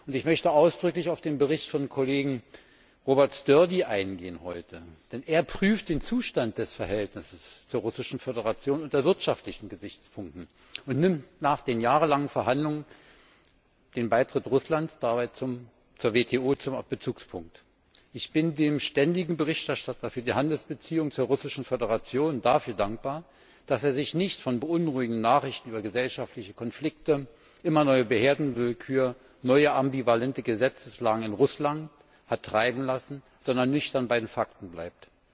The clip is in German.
Ich möchte heute ausdrücklich auf den Bericht von Kollegen Robert Sturdy eingehen, denn er prüft den Zustand des Verhältnisses zur Russischen Föderation unter wirtschaftlichen Gesichtspunkten und nimmt nach den jahrelangen Verhandlungen den Beitritt Russlands zur WTO zum Bezugspunkt. Ich bin dem Ständigen Berichterstatter für die Handelsbeziehungen zur Russischen Föderation dafür dankbar, dass er sich nicht von beunruhigenden Nachrichten über gesellschaftliche Konflikte, immer neue Behördenwillkür und neue ambivalente Gesetzeslagen in Russland hat treiben lassen, sondern nüchtern bei den Fakten bleibt.